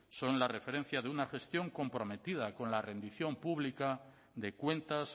son la referencia de una gestión comprometida con la rendición pública de cuentas